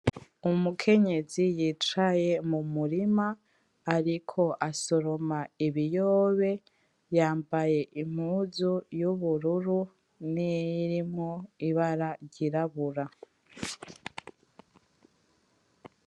Umukenyezi yicaye mumurima ariko asoroma ibiyobe. Yambaye impuzu y’ubururu niyirimwo ibara ry’irabura.